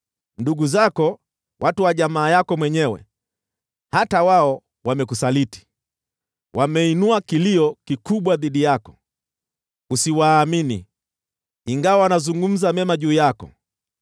Ndugu zako, watu wa jamaa yako mwenyewe: hata wao wamekusaliti; wameinua kilio kikubwa dhidi yako. Usiwaamini, ingawa wanazungumza mema juu yako.